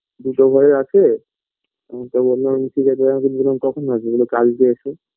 দুটো ঘরই আছে তো বোললাম ঠিক আছে আমি বোললাম কখন আসবে তো বললো কালকে এসো